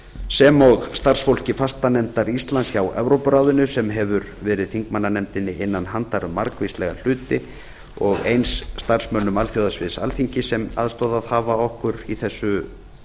sem og starfsfólki fastanefndar íslands hjá evrópuráðinu sem hefur verið þingmannanefndinni innan handa um margvíslega hluti og eins starfsmönnum alþjóðasviðs alþingis sem aðstoðað hafa okkur í þessu